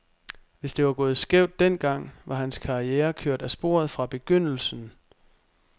Hvis det var gået skævt den gang, var hans karriere kørt af sporet fra begyndelsen.